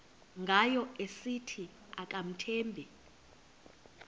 ngayo esithi akamthembi